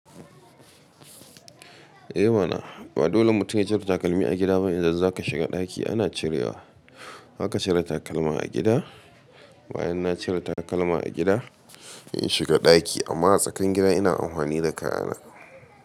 Eh mana ba dole mutum ya cire takalmi a gida ba in za ka shiga ɗaki ana cirewa. Haka cire takalma a gida. Bayan na cire takalma a gida, in shiga ɗaki amma a tsakanin gida ina amfani da kaya na.